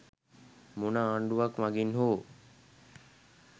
මොන ආණ්ඩුවක් මගින් හෝ